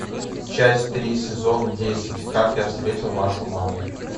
часть три сезон десять как я встретил вашу маму